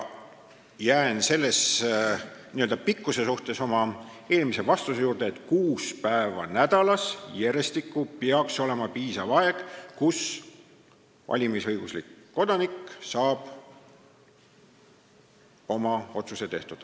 Selle n-ö pikkuse asjus jään oma eelmise vastuse juurde, et kuus päeva nädalas järjestikku peaks olema piisav aeg, et valimisõiguslik kodanik saaks oma otsuse tehtud.